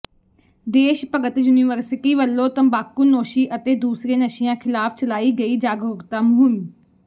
ਦੇਸ਼ ਭਗਤ ਯੂਨੀਵਰਸਿਟੀ ਵਲੋਂ ਤੰਬਾਕੂਨੋਸ਼ੀ ਅਤੇ ਦੂਸਰੇ ਨਸ਼ਿਆਂ ਖਿਲਾਫ਼ ਚਲਾਈ ਗਈ ਜਾਗਰੂਕਤਾ ਮੁਹਿੰਮ